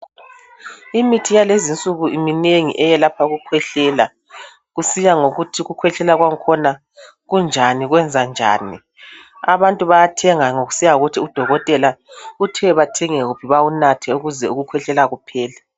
Imithi yalezinsuku iminengi eyelapha ukukhwehlela. Kusiyangokuthi ukukhwehlela kwangkhona kunjani, kwenzanjani. Abantu bayathenga ngokusiya ngokuthi udokotela uthe bathenge wuphi bawunathe, ukuze ukukhwehlela kuphele.